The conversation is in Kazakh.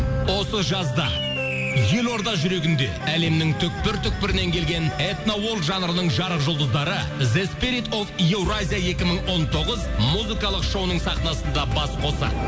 осы жазда елорда жүрегінде әлемнің түпкір түпкірінен келген этно жанрының жарық жұлдыздары евразия екі мың он тоғыз музыкалық шоуының сахнасында бас қосады